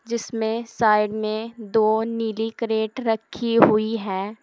जिसमें साइड में दो नीली क्रेट रखी हुई है।